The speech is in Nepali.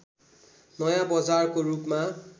नयाँ बजारको रूपमा